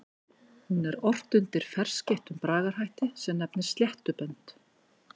Hún er ort undir ferskeyttum bragarhætti sem nefnist sléttubönd.